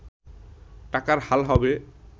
টাকার হাল হবে